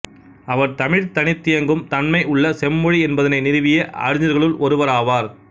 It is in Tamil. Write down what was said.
அவர் தமிழ் தனித்தியங்கும் தன்மை உள்ள செம்மொழி என்பதனை நிறுவிய அறிஞர்களுள் ஒருவர் ஆவார்